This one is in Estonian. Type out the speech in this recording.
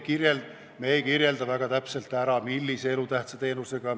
Me ei kirjelda väga täpselt, millise elutähtsa teenusega on tegemist.